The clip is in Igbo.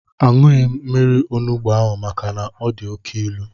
Aṅụghị m mmiri onugbu ahụ maka na ọ dị oké ilu